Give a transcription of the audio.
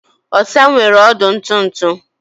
Osa nwere ọdụ ntụ ntụ